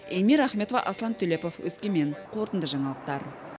эльмира ахметова аслан төлепов өскемен қорытынды жаңалықтар